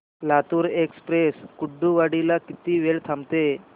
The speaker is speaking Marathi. लातूर एक्सप्रेस कुर्डुवाडी ला किती वेळ थांबते